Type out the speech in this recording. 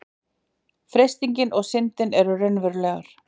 Freistingin og syndin eru raunverulegar.